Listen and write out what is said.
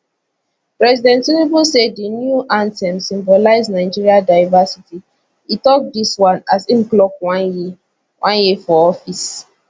president tinubu say di new anthem symbolize nigeria diversity e tok dis one as im clock one year one year for for office